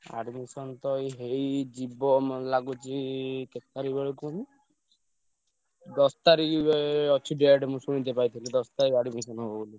Admission ତ ଏଇ ହେଇଯିବ ମତେ ଲାଗୁଛି କେତେ ତାରିଖବେଳ କୁହନି ଦଶ ତାରିଖ ବେଳେ ଅଛି date ମୁଁ ଶୁଣିତେ ପାଇଥିଲି ଦଶ ତାରିଖ admission ହବ ବୋଲି।